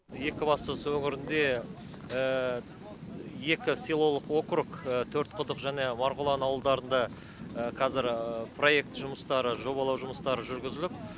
екібастұз өңірінде екі селолық округ төртқұдық және марғұлан ауылдарында қазір проект жұмыстары жобалау жұмыстары жүргізіліп